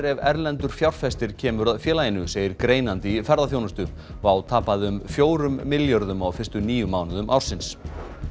ef erlendur fjárfestir kemur að félaginu segir greinandi í ferðaþjónustu WOW tapaði um fjórum milljörðum á fyrstu níu mánuðum ársins